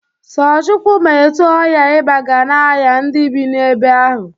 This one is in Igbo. So Chukwu ma etu ọya iba ga na-aya ndị bị na-ebe ahụ.